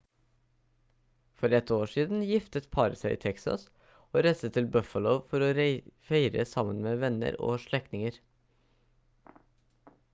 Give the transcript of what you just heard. for ett år siden giftet paret seg i texas og reiste til buffalo for å feire sammen med venner og slektninger